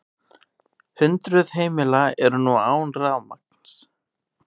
Hundruð heimila eru nú án rafmagns